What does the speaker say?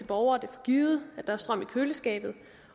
borgere det for givet at der er strøm til køleskabet